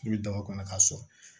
I bɛ daba kɔnɔ k'a sɔrɔ